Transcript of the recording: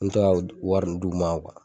N bɛ tô ka wari in d'u ma kuwa.